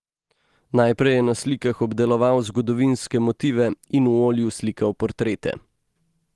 Najprej je na slikah obdeloval zgodovinske motive in v olju slikal portrete.